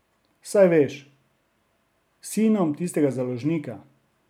Saj veš, s sinom tistega založnika.